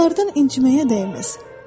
Onlardan inciməyə dəyməz.